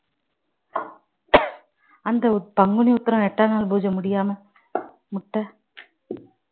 அந்த உத்~ பங்குனி உத்திரம் எட்டாம் நாள் பூஜை முடியாம முட்டை